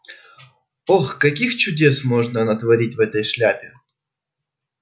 ох каких чудес может она натворить в этой шляпке